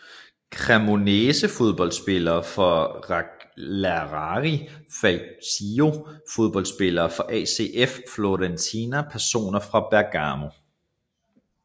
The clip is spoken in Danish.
Cremonese Fodboldspillere fra Cagliari Calcio Fodboldspillere fra ACF Fiorentina Personer fra Bergamo